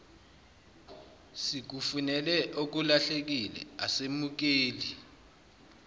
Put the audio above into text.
sikufunele okulahlekile asemukeli